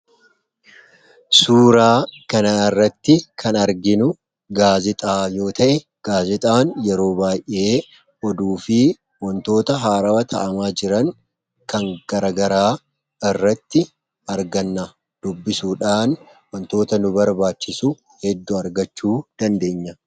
suuraa kana irratti kan arginu gaazixaa yoo ta'e gaazixaan yeroo baay'ee oduu fi wantoota haarawa ta'amaa jiran kan garagaraa irratti arganna dubbisuudhaan wantoota nu barbaachisu heddu argachuu dandeenya